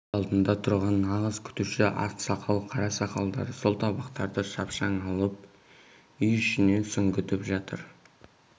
үй алдында тұрған нағыз күтуші ақсақал қара-сақалдар сол табақтарды шапшаң алып үй ішіне сүңгітіп жатыр